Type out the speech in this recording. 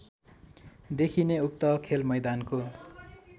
देखिने उक्त खेलमैदानको